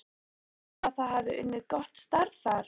Telurðu að þið hafi unnið gott starf þar?